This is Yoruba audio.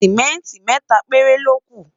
simẹnti méta péré loku